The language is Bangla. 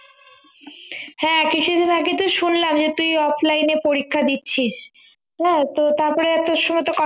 হ্যাঁ কিছুদিন আগে তো শুনলাম যে তুই offline এ পরীক্ষা দিচ্ছিস হ্যাঁ তো তারপরে আর তোর সঙ্গেতো ক